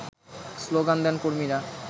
slogan দেন কর্মীরা